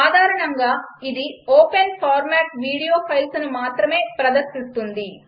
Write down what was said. సాధారణంగా ఇది open format video ఫైల్స్ను మాత్రమే ప్రదర్శిస్తుంది